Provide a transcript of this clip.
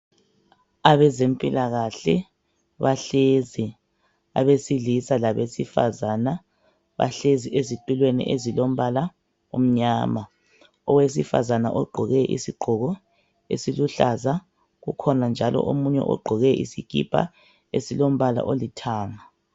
Abezempilakahle bahlezi abesilisa labesifazana, bahlezi ezitulweni ezilombala omnyama . Owesifazana ugqoke isigqoko esiluhlaza .Kukhona njalo omunye ogqoke isikipa esilombala olithanga.